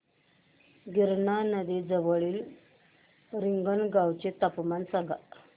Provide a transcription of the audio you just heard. गिरणा नदी जवळील रिंगणगावाचे तापमान सांगा